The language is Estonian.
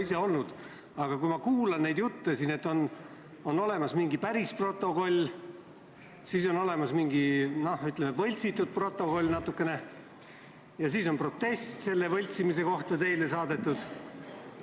Aga neid jutte kuulates saan ma aru, et on olemas mingisugune päris protokoll ja mingisugune n-ö võltsitud protokoll ning et teile on selle võltsimise kohta saadetud protest.